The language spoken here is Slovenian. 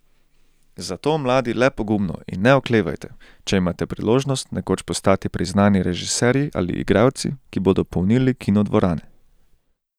Zato mladi le pogumno in ne oklevajte, če imate priložnost nekoč postati priznani režiserji ali igralci, ki bodo polnili kinodvorane.